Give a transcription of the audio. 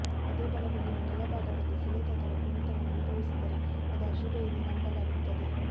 ಅದೇ ಬಲಗಣ್ಣಿನ ಕೆಳ ಭಾಗದಲ್ಲಿ ಸೆಳೆತ ಅಥವಾ ಕುಣಿತವನ್ನು ಅನುಭವಿಸಿದರೆ ಅದು ಅಶುಭ ಎಂದು ನಂಬಲಾಗುತ್ತದೆ